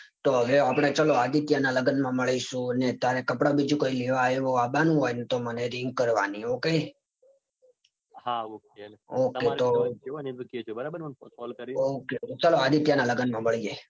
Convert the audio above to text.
તો હવે આપડે ચાલો આદિત્યના લગનમાં મળીશુ. ને તારે કપડાં બીજું કાંઈ લેવા આવ્યા હોય ને તો મને રિંગ કરવાની. ok હા ok તમારે જે હોય એ કેજો મને